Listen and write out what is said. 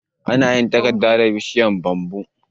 Ana yin takarda da bishiyar "Bamboo".